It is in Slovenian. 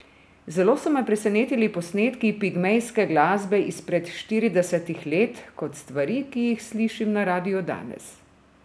Zelo so me presenetili posnetki pigmejske glasbe izpred štiridesetih let kot stvari, ki jih slišim na radiu danes.